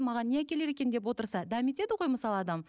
маған не әкелер екен деп отырса дәметеді ғой мысалы адам